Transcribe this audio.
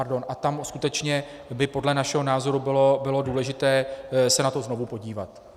A tam skutečně by podle našeho názoru bylo důležité se na to znovu podívat.